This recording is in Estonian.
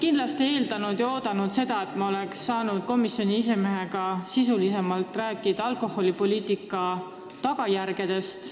Aga ma eeldasin ja ootasin seda, et me saame komisjoni esimehega sisulisemalt rääkida alkoholipoliitika tagajärgedest.